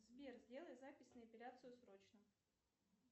сбер сделай запись на эпиляцию срочно